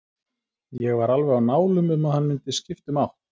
Ég var alveg á nálum um að hann mundi skipta um átt.